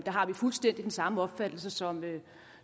har vi fuldstændig den samme opfattelse som